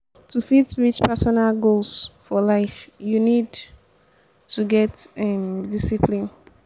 to fit reach personal goals for life you need to get um discipline